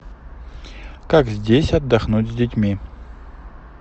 как здесь отдохнуть с детьми